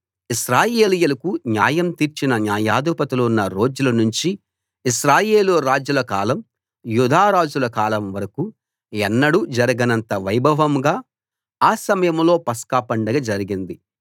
ఇశ్రాయేలీయులకు న్యాయం తీర్చిన న్యాయాధిపతులున్న రోజుల నుంచి ఇశ్రాయేలు రాజుల కాలం యూదా రాజుల కాలం వరకూ ఎన్నడూ జరగనంత వైభవంగా ఆ సమయంలో పస్కా పండగ జరిగింది